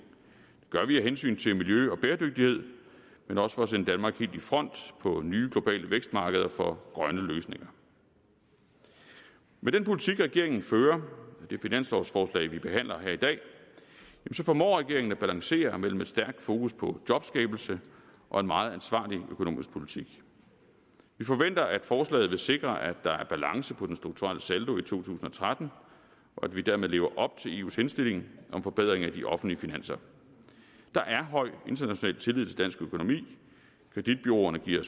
det gør vi af hensyn til miljø og bæredygtighed men også for at sende danmark helt i front på nye globale vækstmarkeder for grønne løsninger med den politik regeringen fører med det finanslovforslag vi behandler her i dag formår regeringen at balancere mellem et stærkt fokus på jobskabelse og en meget ansvarlig økonomisk politik vi forventer at forslaget vil sikre at der er balance på den strukturelle saldo i to tusind og tretten og at vi dermed lever op til eus henstilling om forbedring af de offentlige finanser der er høj international tillid til dansk økonomi kreditbureauerne giver